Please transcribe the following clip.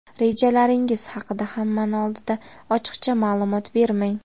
Rejalaringiz haqida hammani oldida ochiqcha ma’lumot bermang.